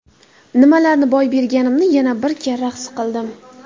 Nimalarni boy berganimni yana bir karra his qildim.